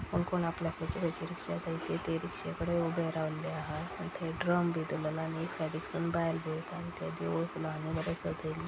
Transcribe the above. कोण कोण आपल्याक खंयची खंयची रिक्शा जाय ती ते रिक्षेकडे उभे रावल्ले आहा आनी थय ड्रम बी दोरलेलो आ आनी एक सायडिक सुन बायल पळयता आनी ते देवुळ फुलांनी बरे सजयल्लें आसा.